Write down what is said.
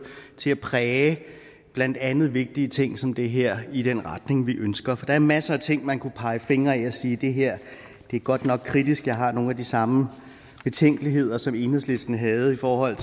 til at præge blandt andet vigtige ting som det her i den retning vi ønsker for der er masser af ting man kunne pege fingre ad og sige det her er godt nok kritisk jeg har nogle af de samme betænkeligheder som enhedslisten havde i forhold